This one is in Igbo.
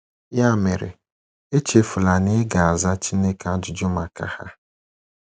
Ya mere, echefula na ị ga - aza Chineke ajụjụ maka ha!